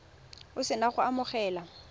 o se na go amogela